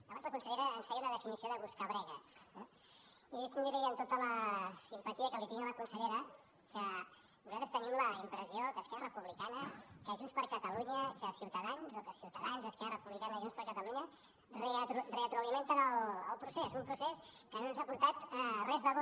abans la consellera ens feia una definició de buscabregues eh i deixi’m dir li amb tota la simpatia que li tinc a la consellera que nosaltres tenim la impressió que esquerra republicana que junts per catalunya que ciutadans o que ciutadans esquerra republicana i junts per catalunya retroalimenten el procés un procés que no ens ha portat res de bo